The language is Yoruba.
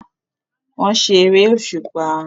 Wọ́n ṣe eré òṣùpá